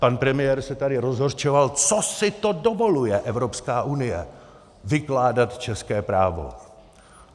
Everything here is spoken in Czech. Pan premiér se tady rozhořčoval: Co si to dovoluje Evropská unie, vykládat české právo!